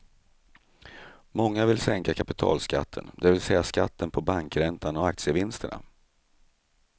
Många vill sänka kapitalskatten, det vill säga skatten på bankräntan och aktievinsterna.